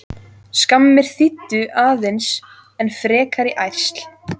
Skammir þýddu aðeins enn frekari ærsl.